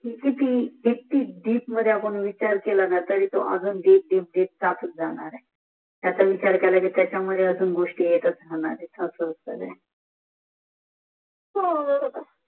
कितीक दा आपण विचार केत्लायाच्या तरी तो त्याचा विचार केला कि त्याचं मध्ये अजून गोष्टी येतात